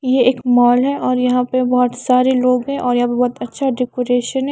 ये एक मॉल है और यहाँ पे बहुत सारे लोग हैं और यहाँ पे बहुत अच्छा डेकोरेशन है।